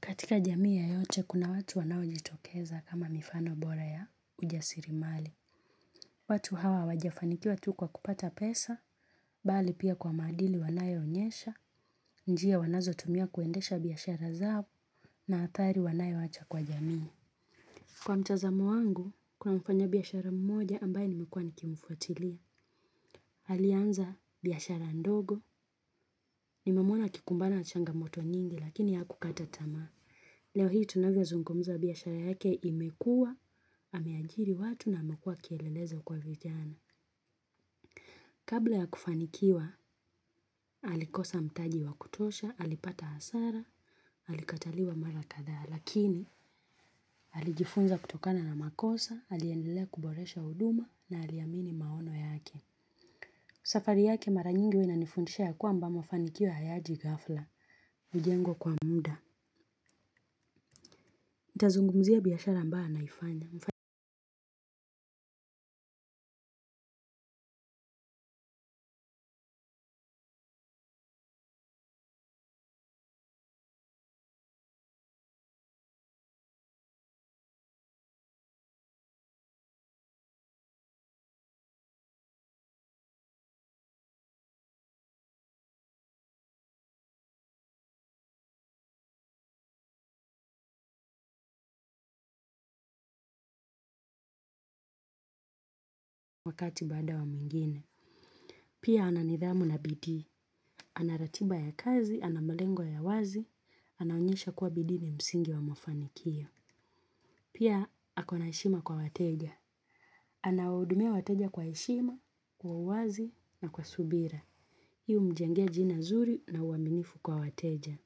Katika jamii yeyote kuna watu wanao jitokeza kama mifano bora ya ujasirimali. Watu hawa wajafanikiwa tu kuwa kupata pesa, bali pia kwa maadili wanayoonyesha, njia wanazo tumia kuendesha biashara zao na athari wanayowacha kwa jamii. Kwa mtazamo wangu, kuna mfanya biashara mmoja ambaye nimekuwa nikimfuatilia. Alianza biashara ndogo, nimemwona akikumbana na changamoto nyingi lakini hakukata tamaa. Leo hii tunavyo zungumza biashara yake imekua, ameajiri watu na amekua kielelezo kwa vijana. Kabla ya kufanikiwa, alikosa mtaji wa kutosha, alipata hasara, alikataliwa mara kadha, lakini alijifunza kutokana na makosa, aliendelea kuboresha huduma na aliamini maono yake. Safari yake mara nyingi huwa inanifundisha ya kwamba mafanikio hayaji gafla, hujengwa kwa muda. Nita zungumzia biashara ambayo anaifanya. Wakati bada wa mwingine. Pia ana nidhamu na bidii. Ana ratiba ya kazi, ana malengo ya wazi, anaonyesha kuwa bidii ni msingi wa mafanikio. Pia ako na heshima kwa wateja. Anawahudumia wateja kwa heshima, kwa uwazi na kwa subira. Hii humjengea jina zuri na uaminifu kwa wateja.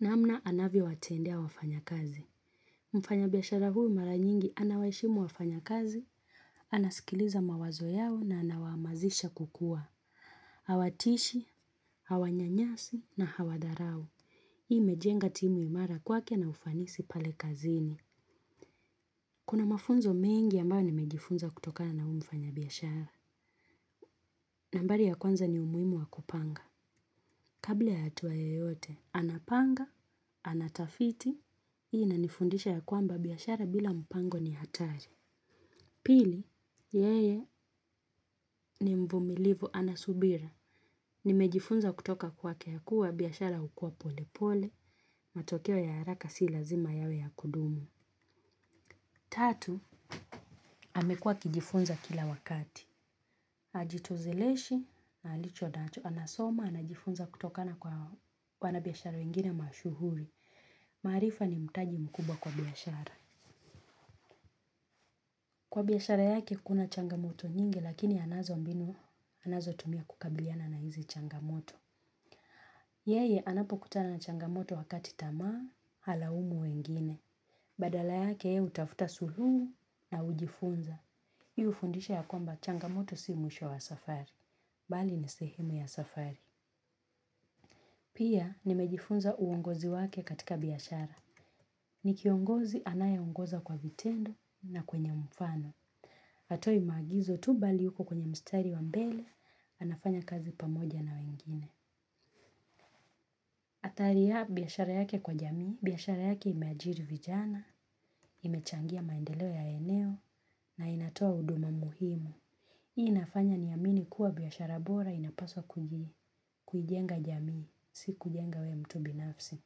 Namna anavyowatendea wafanyakazi. Mfanyabiashara huyu mara nyingi anawaheshimu wafanyakazi, anaskiliza mawazo yao na anawamazisha kukua. Hawatishi, hawanyanyasi na hawadharau. Hii imejenga timu imara kwake na ufanisi pale kazini. Kuna mafunzo mengi ambayo nimejifunza kutokana huyu mfanyabiashara. Nambari ya kwanza ni umuhimu wakupanga. Kabla ya hatua yeyote, anapanga, anatafiti, hii inanifundisha ya kwamba biashara bila mpango ni hatari. Pili, yeye ni mvumilivu ana subira. Nimejifunza kutoka kwake kuwa, biashara hukua pole pole, matokeo ya haraka si lazima yawe ya kudumu. Tatu, amekua akijifunza kila wakati. Ajitozeleshe na alichonacho, anasoma, anajifunza kutokana kwa wanabiashara wengine mashuhuri. Maarifa ni mtaji mkubwa kwa biashara. Kwa biashara yake kuna changamoto nyingi lakini anazo mbinu anazotumia kukabiliana na hizi changamoto. Yeye anapo kutana na changamoto wakati tamaa, halaumu wengine. Badala yake hutafuta suluhu na hujifunza. Hii hufundisha ya kwamba changamoto si mwisho wa safari. Bali ni sehemu ya safari. Pia nimejifunza uongozi wake katika biashara. Ni kiongozi anaye ongoza kwa vitendo na kwenye mfano. Hatoi maagizo tu bali yuko kwenye mstari wa mbele, anafanya kazi pamoja na wengine. Athari ya biashara yake kwa jamii, biashara yake imeajiri vijana, imechangia maendeleo ya eneo, na inatoa huduma muhimu. Hii inafanya niamini kuwa biashara bora inapaswa kujenga jamii, si kujenga we mtu binafsi.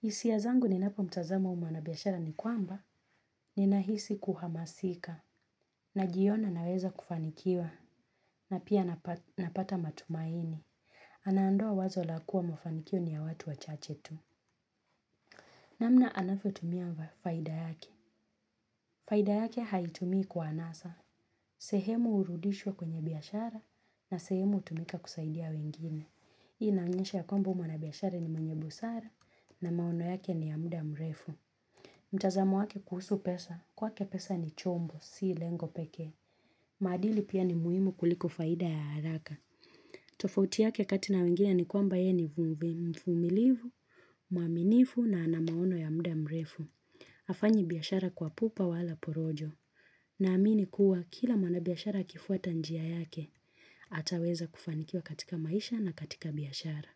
Hisia zangu ninapo mtazama huyu mwanabiashara ni kwamba, ninahisi kuhamasika. Najiona naweza kufanikiwa na pia napata matumaini. Anaondoa wazo la kuwa mafanikio ni ya watu wachache tu. Namna anavyotumia faida yake. Faida yake haitumii kwa anasa. Sehemu hurudishwa kwenye biashara na sehemu hutumika kusaidia wengine. Hii ina onyesha ya kwamba huyu mwanabiashara ni mwenye busara na maono yake ni ya muda mrefu. Mtazamo wake kuhusu pesa, kwake pesa ni chombo, si lengo peke. Maadili pia ni muhimu kuliko faida ya haraka. Tofauti yake kati na wengine ni kwamba ye ni mvumilivu, mwaminifu na ana maono ya muda mrefu. Hafanyi biashara kwa pupa wala porojo. Naamini kuwa kila mwanabiashara akifuata njia yake, ataweza kufanikia katika maisha na katika biashara.